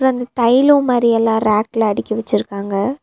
அந்த தைலோ மாரியெல்லா ரேக்குல அடுக்கி வெச்சிருக்காங்க.